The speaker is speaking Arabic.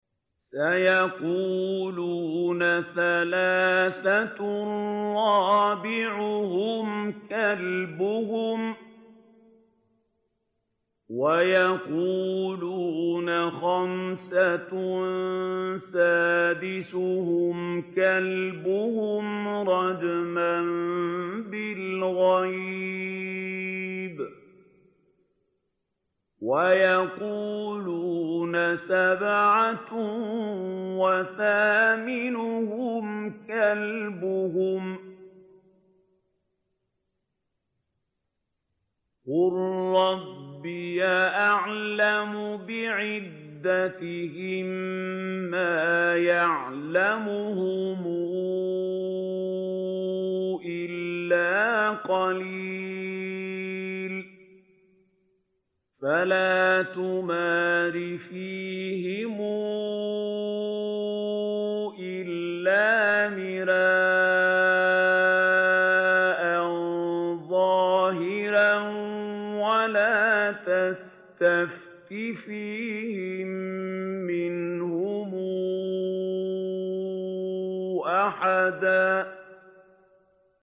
سَيَقُولُونَ ثَلَاثَةٌ رَّابِعُهُمْ كَلْبُهُمْ وَيَقُولُونَ خَمْسَةٌ سَادِسُهُمْ كَلْبُهُمْ رَجْمًا بِالْغَيْبِ ۖ وَيَقُولُونَ سَبْعَةٌ وَثَامِنُهُمْ كَلْبُهُمْ ۚ قُل رَّبِّي أَعْلَمُ بِعِدَّتِهِم مَّا يَعْلَمُهُمْ إِلَّا قَلِيلٌ ۗ فَلَا تُمَارِ فِيهِمْ إِلَّا مِرَاءً ظَاهِرًا وَلَا تَسْتَفْتِ فِيهِم مِّنْهُمْ أَحَدًا